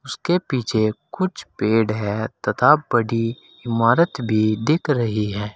उसके पीछे कुछ पेड़ हैं तथा बड़ी इमारत भी दिख रही है।